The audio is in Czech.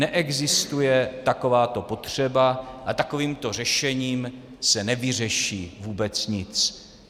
Neexistuje takováto potřeba a takovýmto řešením se nevyřeší vůbec nic.